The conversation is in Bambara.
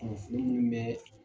Ɔn fini munun bɛ